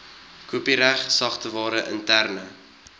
kopiereg sagteware interne